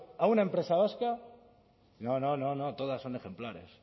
a una empresa vasca no no no todas son ejemplares